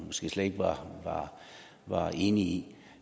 slet ikke var var enig